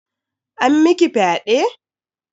An miki fyaɗe?